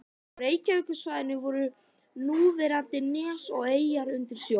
Á Reykjavíkursvæðinu voru núverandi nes og eyjar undir sjó.